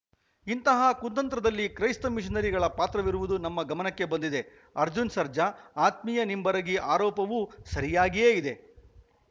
ಇಂತಹ ಕುತಂತ್ರದಲ್ಲಿ ಕ್ರೈಸ್ತ ಮಿಷನರಿಗಳ ಪಾತ್ರವಿರುವುದು ನಮ್ಮ ಗಮನಕ್ಕೆ ಬಂದಿದೆ ಅರ್ಜುನ್‌ ಸರ್ಜಾ ಆತ್ಮೀಯ ನಿಂಬರಗಿ ಆರೋಪವೂ ಸರಿಯಾಗಿಯೇ ಇದೆ